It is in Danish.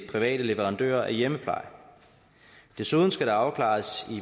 private leverandører af hjemmepleje desuden skal det afklares i